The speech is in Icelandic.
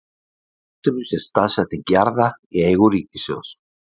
á kortinu sést staðsetning jarða í eigu ríkissjóðs